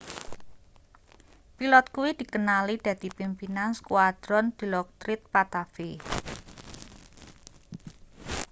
pilot kuwi dikenali dadi pimpinan skuadron dilokrit pattavee